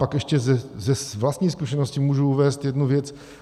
Pak ještě z vlastní zkušenosti můžu uvést jednu věc.